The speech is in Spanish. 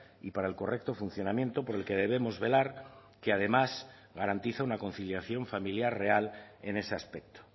y para el correcto funcionamiento por el que debemos velar que además garantiza una conciliación familiar real en ese aspecto